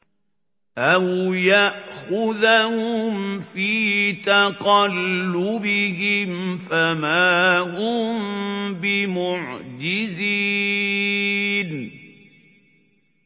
أَوْ يَأْخُذَهُمْ فِي تَقَلُّبِهِمْ فَمَا هُم بِمُعْجِزِينَ